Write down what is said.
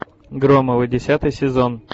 громовы десятый сезон